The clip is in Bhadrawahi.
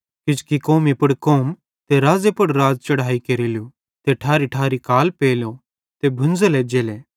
किजोकि कौमी पुड़ कौम ते राज़्ज़े पुड़ राज़ चढ़हाई केरेलू ते ठैरीठैरी काल पेलो ते भुंज़ल एज्जेले